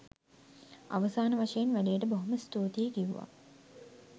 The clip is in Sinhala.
අවසාන වශයෙන් වැඩේට බොහොම ස්තුතියි කිව්වා.